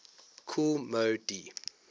kool moe dee